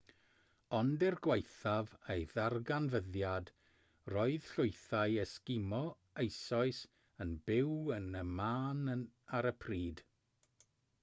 ond er gwaethaf ei ddarganfyddiad roedd llwythau esgimo eisoes yn byw yn y man ar y pryd